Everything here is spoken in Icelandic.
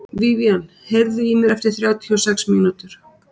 Vivian, heyrðu í mér eftir þrjátíu og sex mínútur.